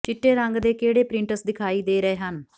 ਚਿੱਟੇ ਰੰਗ ਦੇ ਕਿਹੜੇ ਪ੍ਰਿੰਟਸ ਦਿਖਾਈ ਦੇ ਰਹੇ ਹਨ